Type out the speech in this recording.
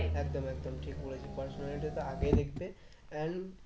একদম একদম ঠিক বলেছিস personality টা তো আগে দেখবে and